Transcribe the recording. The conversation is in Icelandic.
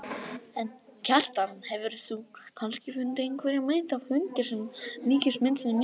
En, Kjartan, hefurðu kannski fundið einhverja mynd af hundi sem líkist myndunum mínum?